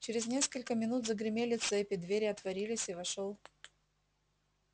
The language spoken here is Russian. через несколько минут загремели цепи двери отворились и вошёл